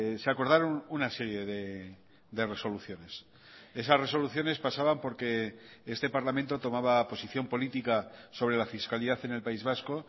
se acordaron una serie de resoluciones esas resoluciones pasaban porque este parlamento tomaba posición política sobre la fiscalidad en el país vasco